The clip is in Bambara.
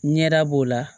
Ɲɛda b'o la